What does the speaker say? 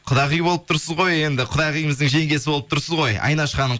құдағи болып тұрсыз ғой енді құдағиымыздың жеңгесі болып тұрсыз ғой айнаш ханым